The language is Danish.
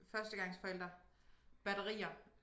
Førstegangsforælder batterier